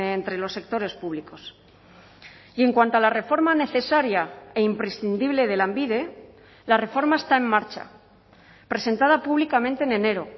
entre los sectores públicos y en cuanto a la reforma necesaria e imprescindible de lanbide la reforma está en marcha presentada públicamente en enero